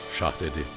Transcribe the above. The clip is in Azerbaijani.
Şah dedi: